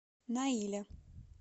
наиля